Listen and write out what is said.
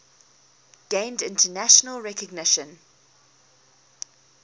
gained international recognition